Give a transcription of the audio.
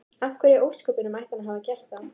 Af hverju í ósköpunum ætti hann að hafa gert það?